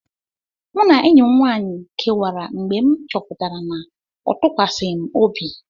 Mụ na enyi m nwaanyị kewara mgbe m chọpụtara na ọ tụkwasịghị m obi.